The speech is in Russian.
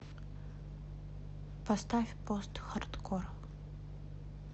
поставь постхардкор